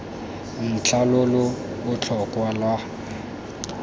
ntlha lo lo botlhokwa lwa